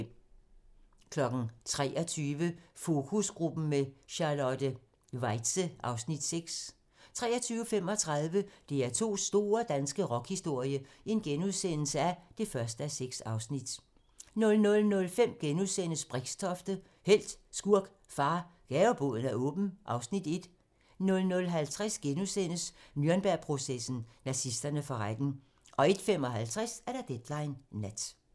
23:00: Fokusgruppen med Charlotte Weitze (Afs. 6) 23:35: DR2's store danske rockhistorie (1:6)* 00:05: Brixtofte - helt, skurk, far - Gaveboden er åben (Afs. 1)* 00:50: Nürnbergprocessen: Nazisterne for retten * 01:55: Deadline nat